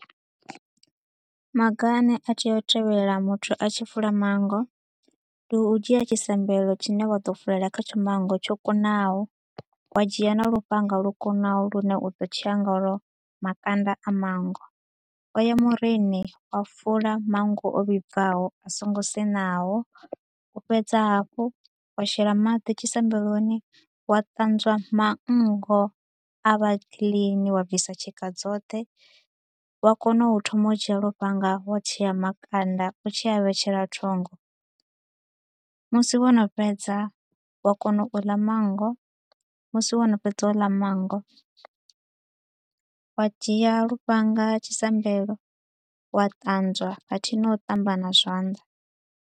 Maga a ne a tea u tevhelelwa muthu a tshi fula manngo, ndi u dzhia a tshisambelo tshine wa ḓo fulela khatsho manngo tsho kunaho. Wa dzhia na lufhanga lwo kunaho lune u ḓo tshea ngalwo makanda a manngo. O ya murini o fula manngo o vhibvaho a so ngo sinaho, u fhedza hafhu wa shela maḓi tshisambeloni, wa ṱanzwa manngo a vha clean wa bvisa tshika dzoṱhe, wa kona u thoma u dzhia lufhanga wa tshea makanda u tshi a vhetshela thungo. Musi wo no fheza, wa kona u ḽa manngo, musi wo no fhedza u ḽa manngo, wa dzhia lufhanga tshisambelo wa ṱanzwa khathihi na u ṱamba na zwanḓa.